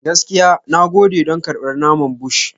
Gaskiya, na gode don karɓar naman Bush.